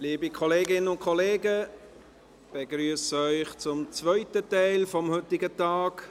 Liebe Kolleginnen und Kollegen, ich begrüsse Sie zum zweiten Teil des heutigen Tages.